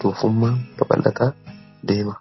tuufummaa kaballataa deema